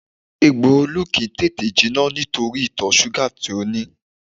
Egbò Olú kìí tètè jinà nítorí ìtọ̀ súgà tí ó ní